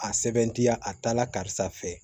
A sɛbɛn tiya a taala karisa fɛ